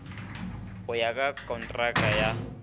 go ya ka kontraka ya